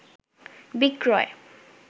বিক্রয়